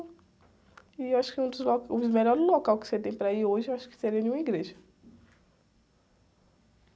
E acho que um dos lo, um dos melhores locais que você tem para ir hoje, acho que seria em uma igreja.